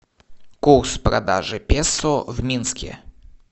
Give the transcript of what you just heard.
курс продажи песо в минске